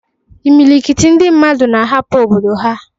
Imilikiti ndị mmadụ na-ahapụ obodo ha